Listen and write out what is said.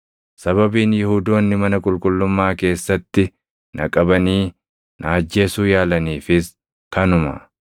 Sababiin Yihuudoonni mana qulqullummaa keessatti na qabanii na ajjeesuu yaalaniifis kanuma.